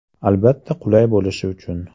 Albatta, qulay bo‘lishi uchun.